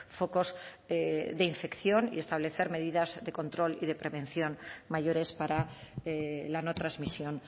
focos de infección y establecer medidas de control y de prevención mayores para la no transmisión